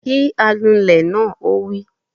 Kí anulẹ̀ náà! Ó wí